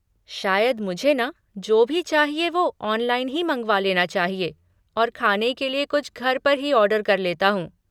शायद मुझे ना, जो भी चाहिए वो ऑनलाइन ही मँगवा लेना चाहिए और खाने के लिए कुछ घर पर ही ऑर्डर कर लेता हूँ।